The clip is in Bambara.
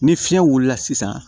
Ni fiɲɛ wulila sisan